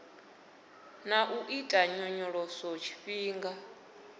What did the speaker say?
na u ita nyonyoloso tshifhinga